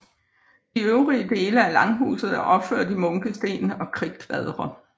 De øvrige dele af langhuset er opført i munkesten og kridtkvadre